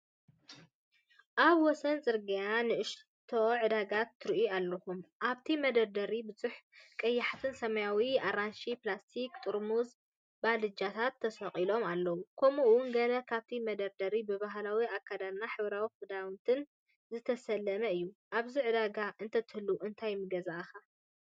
ኣብ ወሰን ጽርግያ ንእሽቶ ዕዳጋ ትርእዩ ኣለኹም። ኣብቲ መደርደሪታት ብዙሓት ቀያሕቲ፡ ሰማያውን ኣራንሺን ፕላስቲክ ጥርሙዝን ባልጃታትን ተሰቒሎም ኣለዉ። ከምኡ’ውን ገለ ካብቲ መደርደሪታት ብባህላዊ ኣከዳድናን ሕብራዊ ክዳውንትን ዝተሰለመ እዩ። ኣብዚ ዕዳጋ እንተትህሉ እንታይ ምገዛእካ?